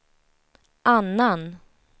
annan